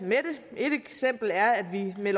med